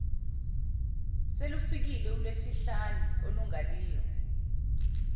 selufikile ulwesihlanu olungaliyo